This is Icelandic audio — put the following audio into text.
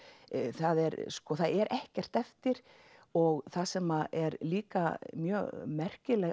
það er það er ekkert eftir og það sem er líka mjög merkileg